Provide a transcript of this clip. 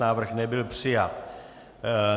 Návrh nebyl přijat.